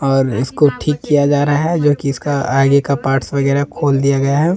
और इसको ठीक किया जा रहा है जो कि इसका आगे का पार्ट्स वगैरह खोल दिया गया है ।